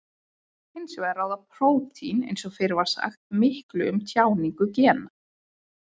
Hins vegar ráða prótín eins og fyrr var sagt miklu um tjáningu gena.